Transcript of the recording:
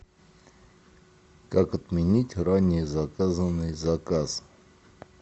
как отменить ранее заказанный заказ